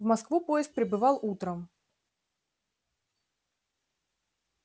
в москву поезд прибывал утром